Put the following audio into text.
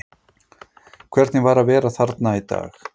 Hvernig var að vera þarna í dag?